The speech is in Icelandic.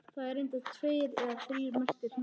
Það eru reyndar tveir eða þrír merktir hringir.